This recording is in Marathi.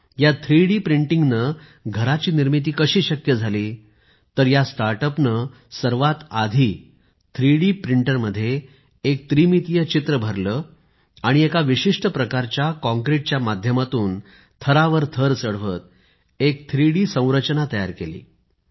या थ्रीडी प्रिंटिंग ने घराची निर्मिती कशी शक्य झाली तर या स्टार्ट अप ने सर्वात आधी थ्रीडी प्रिंटर मध्ये एक त्रिमीतीय चित्र भरले आणि एका विशिष्ट प्रकारच्या काँक्रीटच्या माध्यमातून थरावर थर चढवत एक थ्रीडी संरचना तयार केली